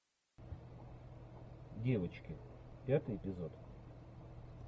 девочки пятый эпизод